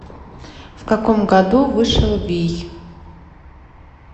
в каком году вышел вий